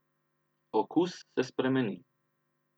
Okus se spremeni.